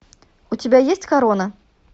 у тебя есть корона